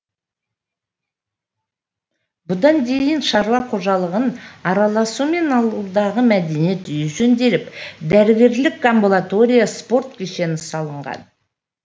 бұған дейін шаруа қожалығының араласуымен ауылдағы мәдениет үйі жөнделіп дәрігерлік амбулатория спорт кешені салынған